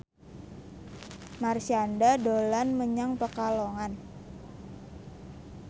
Marshanda dolan menyang Pekalongan